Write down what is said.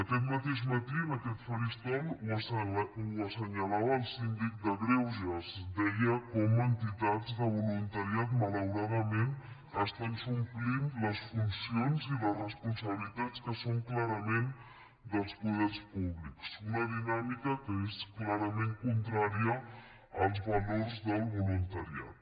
aquest mateix matí en aquest faristol ho assenyalava el síndic de greuges deia com entitats de voluntariat malauradament estan suplint les funcions i les responsabilitats que són clarament dels poders públics una dinàmica que és clarament contrària als valors del voluntariat